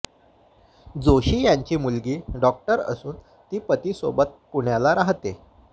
जोशी यांची मुलगी डॉक्टर असून ती पतीसोबत पुण्याला राहाते